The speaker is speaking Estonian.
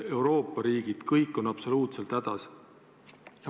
Euroopa riigid on kõik hädas.